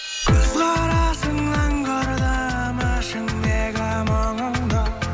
көз қарасыңнан көрдім ішіңдегі мұңыңды